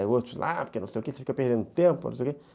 Aí outros lá, porque não sei o quê, você fica perdendo tempo, não sei o quê.